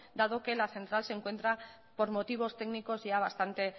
dado que la central se encuentra por motivos técnicos ya bastante